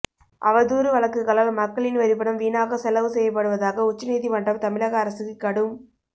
அவதூறு வழக்குகளால் மக்களின் வரிப்பணம் வீணாக செலவு செய்யப்படுவதாக உச்சநீதிமன்றம் தமிழக அரசுக்கு கடும்